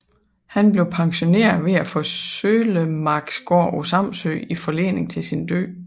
Han blev pensioneret ved at få Søllemarksgård på Samsø i forlening til sin død